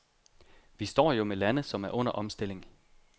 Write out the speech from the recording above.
Vi står jo med lande, som er under omstilling.